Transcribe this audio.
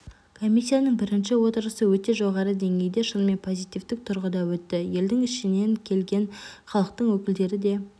комиссияның бірінші отырысы өте жоғары деңгейде шынымен позитивтік тұрғыда өтті елдің ішінен келген халықтың өкілдері де